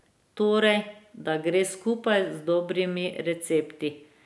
Torej, da gre skupaj z dobrimi recepti.